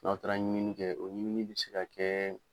N'a taara ɲɛɲini kɛ o ɲɛɲini bɛ se ka kɛ.